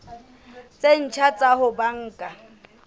tse ntjha tsa ho banka